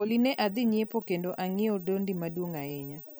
Olly, ne adhi ng'iepo kendo ang'iewo doldi maduong' ahinya